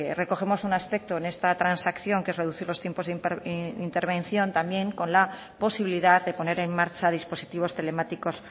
recogemos un aspecto en esta transacción que es reducir los tiempos de intervención también con la posibilidad de poner en marcha dispositivos telemáticos